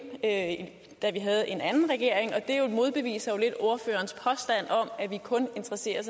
da da vi havde en anden regering og det modbeviser jo lidt ordførerens påstand om at vi kun interesserer